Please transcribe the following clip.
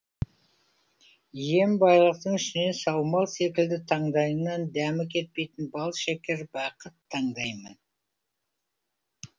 иен байлықтың ішінен саумал секілді таңдайыңнан дәмі кетпейтін балшекер бақыт таңдаймын